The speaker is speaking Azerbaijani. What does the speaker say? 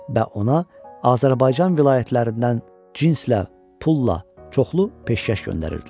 Və ona Azərbaycan vilayətlərindən cinslə, pulla çoxlu peşkəş göndərirdilər.